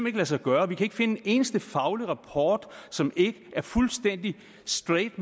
ikke lade sig gøre vi kan ikke finde en eneste faglig rapport som ikke er fuldstændig straight